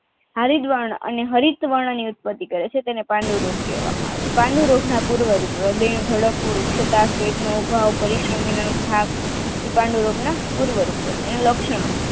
હરિદ્વારન અને હરિત વર્નની ઉત્પત્તિ કરે છે તેના પન્ડુ રોગ કહે છે પાન્ડુરોગના પૂર્વ રીતો પરીશ્રમીય થાક એ પાંડુ રોગના પૂર્વ રૂપો છે લક્ષણો